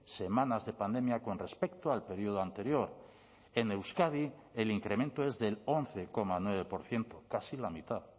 semanas de pandemia con respecto al periodo anterior en euskadi el incremento es del once coma nueve por ciento casi la mitad